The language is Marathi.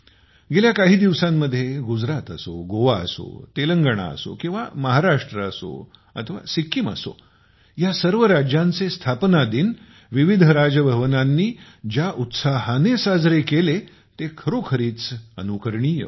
गेल्या काही दिवसांमध्ये गुजरात असो गोवा असो तेलंगणा किंवा महाराष्ट्र असो अथवा सिक्कीम असो या सर्व राज्यांचे स्थापना दिनविविध राजभवनांनी ज्याउत्साहाने साजरे केले ते खरोखरीच अनुकरणीय होते